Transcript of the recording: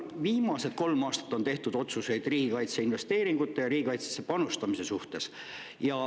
Viimased kolm aastat on siin tehtud otsuseid kaitseinvesteeringute ja riigikaitsesse panustamise kohta.